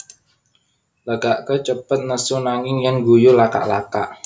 Lagaké cepet nesu nanging yèn ngguyu lakak lakak